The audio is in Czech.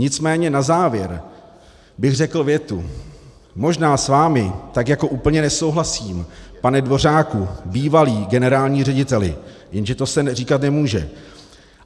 Nicméně na závěr bych řekl větu: Možná s vámi tak jako úplně nesouhlasím, pane Dvořáku, bývalý generální řediteli - jenže to se říkat nemůže.